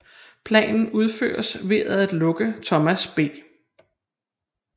Planen udføres ved at lukke Thomas B